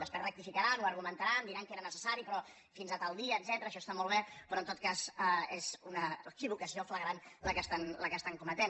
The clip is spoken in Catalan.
després rectificaran ho argumentaran diran que era necessari però fins a tal dia etcètera això està molt bé però en tot cas és una equivocació flagrant la que estan cometent